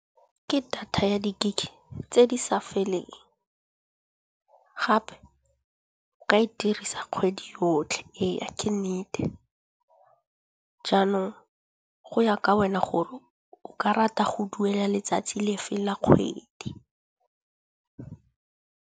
Ke data ya di gig tse di sa feleng gape o ka e dirisa kgwedi yotlhe, eya ke nnete. Jaanong go ya ka wena gore o ka rata go duela letsatsi le fe la kgwedi.